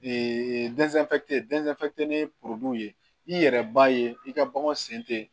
ye ye i yɛrɛ b'a ye i ka baganw sen te yen